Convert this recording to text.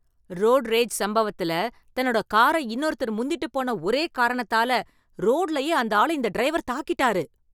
road rage சம்பவத்துல, தன்னோட காரை இன்னொருத்தர் முந்திட்டு போன ஒரே காரணத்தால, ரோடுலயே அந்த ஆள இந்த டிரைவர் தாக்கிட்டாரு